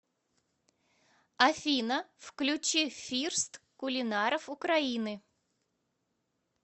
афина включи фирст кулинаров украины